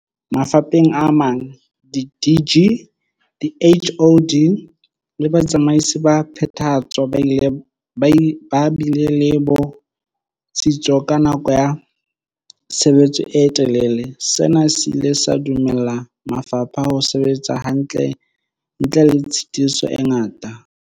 Mafapheng a mang, di-DG, di-HoD le batsamaisi ba phethahatso ba bile le bo tsitso ka nako ya tshebetso e telele, sena se ile sa dumella mafapha ho sebetsa hantle ntle le tshitiso e ngata.